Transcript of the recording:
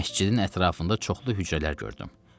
Məscidin ətrafında çoxlu hücrələr gördüm.